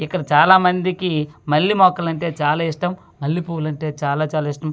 ఇక్కడ చాలామందికి మల్లె మొక్కలు అంటే చాలా ఇష్టం మల్లె పువ్వులంటే చాలా చాలా ఇష్టం.